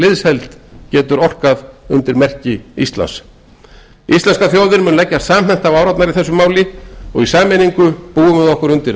liðsheild getur áorkað íslenska þjóðin leggst samhent á árarnar og í sameiningu búum við okkur undir